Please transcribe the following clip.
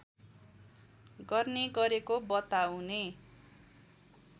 गर्ने गरेको बताउने